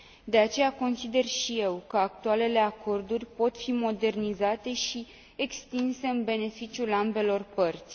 De aceea, consider și eu că actualele acorduri pot fi modernizate și extinse, în beneficiul ambelor părți.